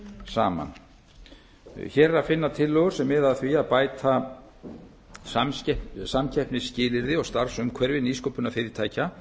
saman hér er að finna tillögur sem miða að því að bæta samkeppnisskilyrði og starfsumhverfi nýsköpunarfyrirtækja